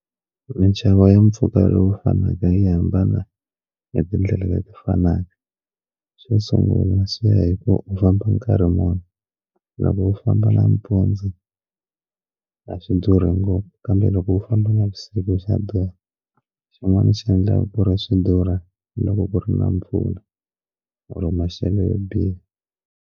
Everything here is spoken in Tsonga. Minxavo ya mpfhuka lowu fanaka yi hambana hi tindlela leti fanaka xo sungula swi ya hi ku u famba nkarhi munhu loko u famba nampundzu a swi durhi ngopfu kambe loko u famba navusiku xa durha xin'wana swi endlaka ku ri swi durha loko ku ri na mpfula or maxelo yo biha.